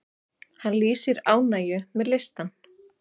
Hann lýsir ánægju með listann.